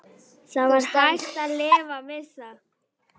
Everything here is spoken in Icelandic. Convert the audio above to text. Það var hægt að lifa við það.